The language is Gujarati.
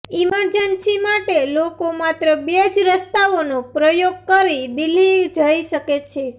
ઇમર્જન્સી માટે લોકો માત્રે બે જ રસ્તાઓનો પ્રયોગ કરી દિલ્હી જઇ શકે છે